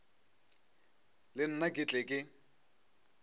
le nna ke tle ke